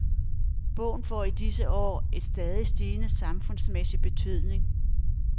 Bogen får i disse år en stadigt stigende samfundsmæssig betydning.